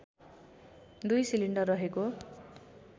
दुई सिलिन्डर रहेको